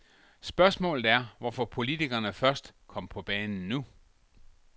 Spørgsmålet er, hvorfor politikerne først kom på banen nu.